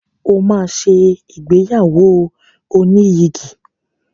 O máa ṣe ìgbéyàwó oníyìgì.